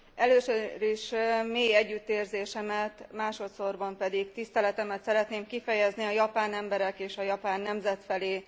Először is mély együttérzésemet, másodsorban pedig tiszteletemet szeretném kifejezni a japán emberek és a japán nemzet felé.